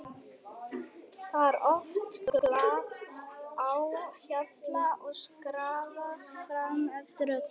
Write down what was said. Það er oft glatt á hjalla og skrafað fram eftir öllu.